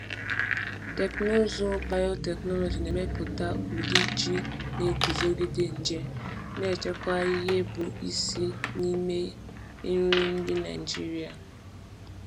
Teknụzụ biotechnology na-emepụta ụdị ji na-eguzogide nje, na-echekwa ihe bụ isi n’ime nri ndị Naijiria.